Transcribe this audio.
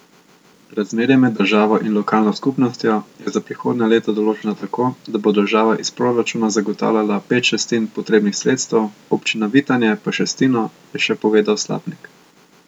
Razmerje med državo in lokalno skupnostjo je za prihodnja leta določeno tako, da bo država iz proračuna zagotavljala pet šestin potrebnih sredstev, občina Vitanje pa šestino, je še povedal Slapnik.